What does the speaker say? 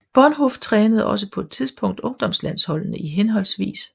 Bonhof trænede også på et tidspunkt ungdomslandsholdene i hhv